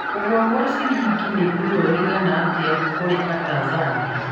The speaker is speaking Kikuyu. Kũgũa kwa cilingi nĩ ruo rwĩgana atĩa kũrĩ Atanzania?